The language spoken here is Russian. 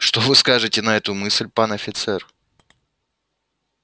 что вы скажете на эту мысль пан офицер